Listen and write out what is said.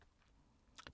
DR K